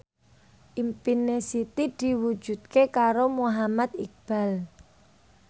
impine Siti diwujudke karo Muhammad Iqbal